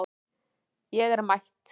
Ég er mætt